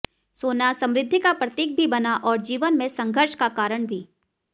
सोना समृद्धि का प्रतीक भी बना और जीवन में संघर्ष का कारण भी